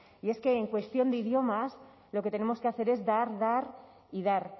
y es que en cuestión de idiomas lo que tenemos que hacer es dar dar y dar